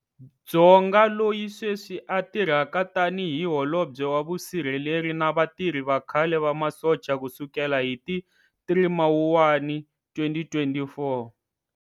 Dzonga loyi sweswi a tirhaka tani hi Holobye wa Vusirheleri na Vatirhi va khale va masocha ku sukela hi ti 3 Mawuwani 2024.